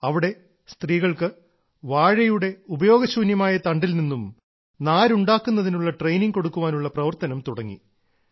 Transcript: അവിടെ സ്ത്രീകൾക്ക് വാഴയുടെ ഉപയോഗശൂന്യമായ തണ്ടിൽനിന്നും നാര് ഉണ്ടാക്കുന്നതിനുള്ള ട്രെയിനിങ് കൊടുക്കാനുള്ള പ്രവർത്തനം തുടങ്ങി